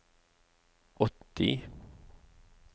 åtti